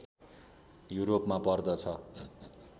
युरोपमा पर्दछ